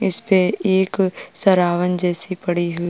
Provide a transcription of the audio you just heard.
इसपे एक जैसी पड़ी हुई --